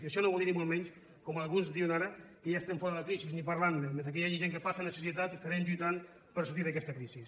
i això no vol dir ni molt menys com alguns diuen ara que ja estem fora de la crisi ni parlar ne mentre que hi hagi gent que passa necessitats estarem lluitant per sortir d’aquesta crisi